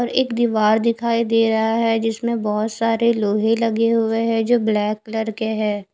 और एक दिवार दिखाई दे रहा है जिसमे बोहोत सारे लोहे लगे हुए है जो ब्लैक कलर के है।